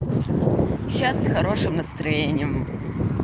сейчас с хорошим настроением